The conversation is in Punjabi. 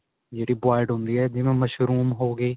ਜਿਹੜੀ boiled ਹੁੰਦੀ ਏ ਜਿਵੇਂ ਮਸ਼ਰੂਮ ਹੋ ਗਈ.